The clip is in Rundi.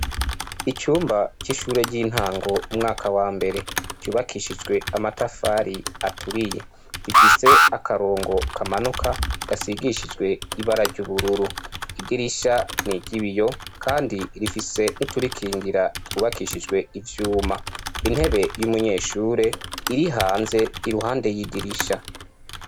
Icumba cishure ryintango umwaka wa mbere ryubakishijwe amatafari aturiye, ifise akarongo kamanuka gasigishijwe ibara ryubururu idirisha niryibiyo kandi rifise nuturikingira twubakishijwe ivyuma, intebe yumunyeshure iri hanze iruhande yidirisha.